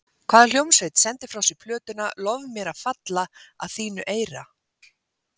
Hvaða hljómsveit sendi frá sér plötuna Lof mér að falla að þínu eyra?